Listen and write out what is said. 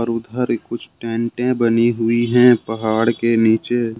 और उधर ही कुछ टेंटे बनी हुई है पहाड़ के नीचे।